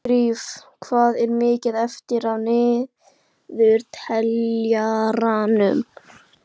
Sigurdríf, hvað er mikið eftir af niðurteljaranum?